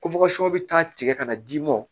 bɛ taa tigɛ ka na d'i ma